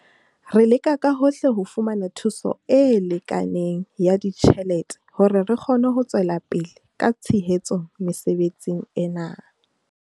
Re leka ka hohle ho fumana thuso e lekaneng ya ditjhelete hore re kgone ho tswela pele ka tshehetso mesebetsing ena.